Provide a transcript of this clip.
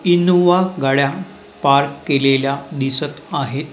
Innova गाड्या park केलेल्या दिसत आहेत.